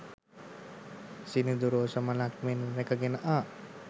සිනිඳු රෝස මලක් මෙන් රැකගෙන ආ